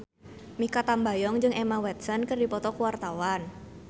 Mikha Tambayong jeung Emma Watson keur dipoto ku wartawan